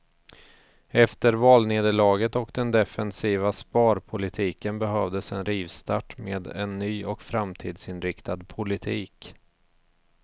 Efter valnederlaget och den defensiva sparpolitiken behövdes en rivstart med en ny och framtidsinriktad politik.